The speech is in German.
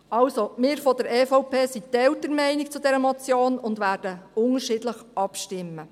Also: Wir von der EVP sind geteilter Meinung zu dieser Motion und werden unterschiedlich abstimmen.